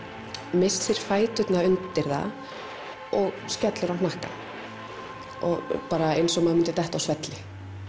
missir fæturna undir það og skellur á hnakkann eins og maður myndi detta á svelli